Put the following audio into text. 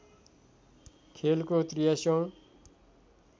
खेलको ८३ औँ